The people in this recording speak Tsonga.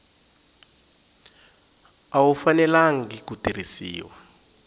a wu fanelangi ku tirhisiwa